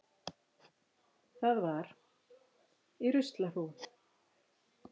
Það var. í ruslahrúgu.